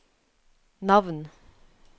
navn